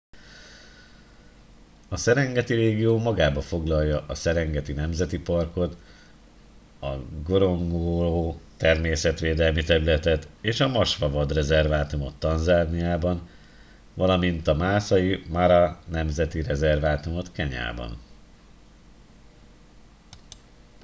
a serengeti régió magában foglalja a serengeti nemzeti parkot a ngorongoro természetvédelmi területet és a maswa vadrezervátumot tanzániában valamint a maasai mara nemzeti rezervátumot kenyában